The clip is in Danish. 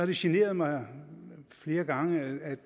det generet mig flere gange at